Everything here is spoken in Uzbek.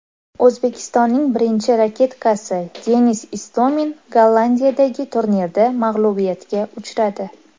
O‘zbekistonning birinchi raketkasi Denis Istomin Gollandiyadagi turnirda mag‘lubiyatga uchradi.